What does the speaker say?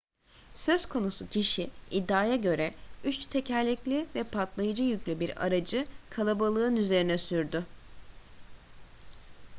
söz konusu kişi iddiaya göre üç tekerlekli ve patlayıcı yüklü bir aracı kalabalığın üzerine sürdü